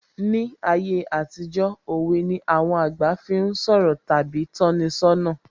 Ní ayé àtijó, òwe ni àwọn àgbà fi ń sọ̀rọ̀ tàbí tọ́ni ṣọ́nà